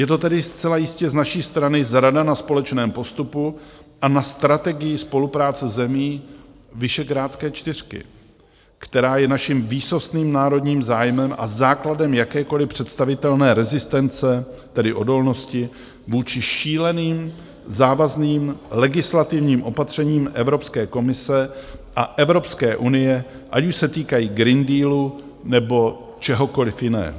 Je to tedy zcela jistě z naší strany zrada na společném postupu a na strategii spolupráce zemí Visegrádské čtyřky, která je naším výsostným národním zájmem a základem jakékoliv představitelné rezistence, tedy odolnosti, vůči šíleným závazným legislativním opatřením Evropské komise a Evropské unie, ať už se týkají Green Dealu, nebo čehokoliv jiného.